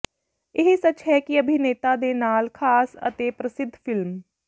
ਇਹ ਸੱਚ ਹੈ ਕਿ ਅਭਿਨੇਤਾ ਦੇ ਨਾਲ ਖ਼ਾਸ ਅਤੇ ਪ੍ਰਸਿੱਧ ਫਿਲਮ